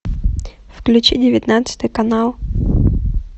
включи девятнадцатый канал